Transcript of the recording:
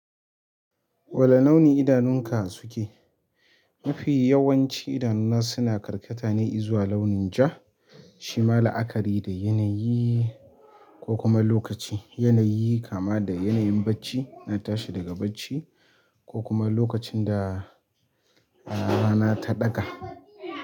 Wane launi idanunka suke? Mafi yawanci idanuna suna karkata ne izuwa launin ja. Shi ma la'akari da yanayi ko kuma lokaci. Yanayi kama da yanayin bacci, na tashi daga bacci ko kuma lokacin da, ah, rana ta ɗaga.